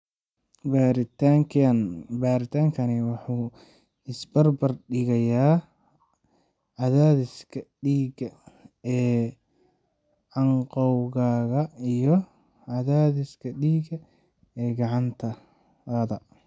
Baaritaankaani wuxuu isbarbar dhigayaa cadaadiska dhiigga ee canqowgaaga iyo cadaadiska dhiigga ee gacantaada.